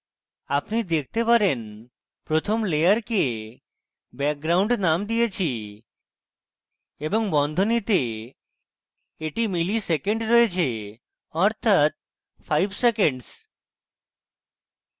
আপনি দেখতে পারেন প্রথম layer background named দিয়েছি এবং বন্ধনীতে এটি milliseconds রয়েছে অর্থাৎ 5 seconds